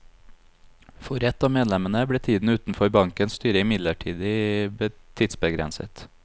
For ett av medlemmene ble tiden utenfor bankens styre imidlertid tidsbegrenset.